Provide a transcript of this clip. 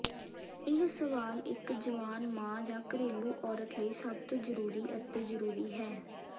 ਇਹ ਸਵਾਲ ਇੱਕ ਜਵਾਨ ਮਾਂ ਜਾਂ ਘਰੇਲੂ ਔਰਤ ਲਈ ਸਭ ਤੋਂ ਜ਼ਰੂਰੀ ਅਤੇ ਜ਼ਰੂਰੀ ਹੈ